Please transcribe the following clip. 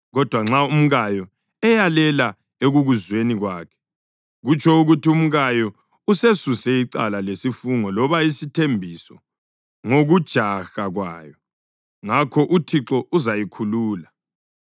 Kodwa nxa umkayo eyalela ekukuzweni kwakhe, kutsho ukuthi umkayo usesuse icala lesifungo loba isithembiso ngokujaha kwayo, ngakho uThixo uzayikhulula.